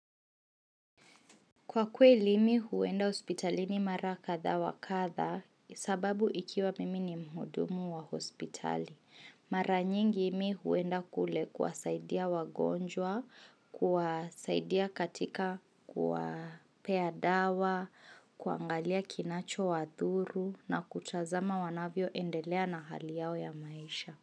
Kwa kweli mi huenda hospitalini mara kadha wakadha sababu ikiwa mimi ni mhudumu wa hospitali. Mara nyingi mi huenda kule kuwa saidia wagonjwa, kuwa saidia katika kuwa pea dawa, kuangalia kinacho wadhuru na kutazama wanavyo endelea na hali yao ya maisha.